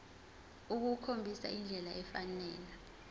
ukukhombisa indlela efanele